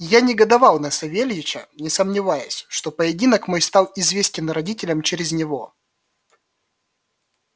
я негодовал на савельича не сомневаясь что поединок мой стал известен родителям через него